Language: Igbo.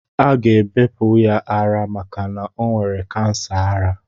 Aga ebepụ ya ara maka o nwere kansa ara.